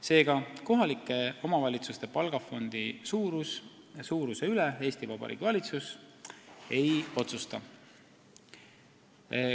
Seega, kohalike omavalitsuste palgafondi suuruse üle Eesti Vabariigi valitsus ei otsusta.